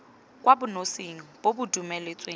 kwa bonosing bo bo dumeletsweng